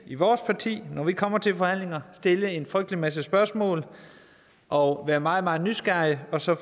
i vores parti når vi kommer til forhandlinger stille en frygtelig masse spørgsmål og være meget meget nysgerrige så